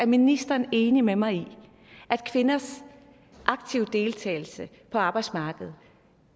ministeren er enig med mig i at kvinders aktive deltagelse på arbejdsmarkedet